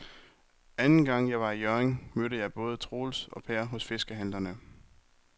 Anden gang jeg var i Hjørring, mødte jeg både Troels og Per hos fiskehandlerne.